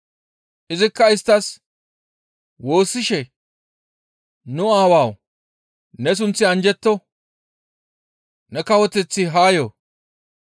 Izikka isttas, «Woossishe, ‹Nu Aawawu! Ne sunththi anjjetto; ne kawoteththi haa yo.